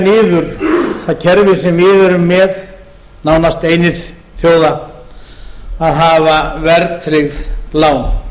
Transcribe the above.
niður það kerfi sem við erum með nánast einir þjóða að hafa verðtryggð lán